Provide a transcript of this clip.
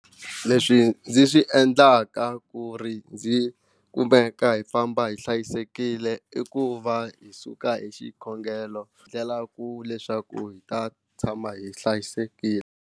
Leswi ndzi swi endlaka ku ri ndzi kumeka hi famba hi hlayisekile i ku va hi suka hi xikhongelo ndlela ku leswaku hi ta tshama hi hlayisekile.